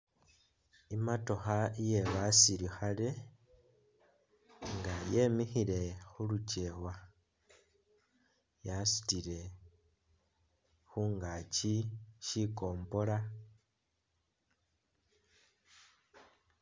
I'motokha iye basilikhale inga yemikhile khulukyewa yasutile khungakyi shikompola